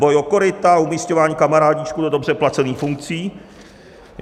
Boj o koryta, umísťování kamarádíčků do dobře placených funkcí.